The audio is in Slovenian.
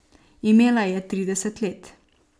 Imela je trideset let.